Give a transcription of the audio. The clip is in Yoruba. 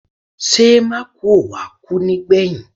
Ṣé Mákùú ò wá kú nígbẹ̀yìn?